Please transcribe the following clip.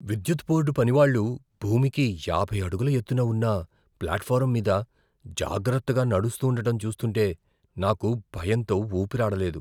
విద్యుత్ బోర్డు పనివాళ్ళు భూమికి యాభై అడుగుల ఎత్తున ఉన్న ప్లాట్ఫారమ్ మీద జాగ్రత్తగా నడుస్తూండటం చూస్తుంటే నాకు భయంతో ఊపిరాడలేదు.